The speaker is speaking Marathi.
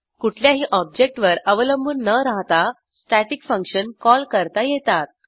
कुठल्याही ऑब्जेक्टवर अवलंबून न राहता स्टॅटिक फंक्शन कॉल करता येतात